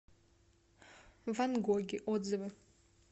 ван гоги отзывы